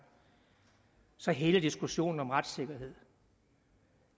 så hele diskussionen om retssikkerhed